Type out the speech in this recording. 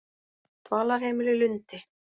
Dvalarheimili Lundi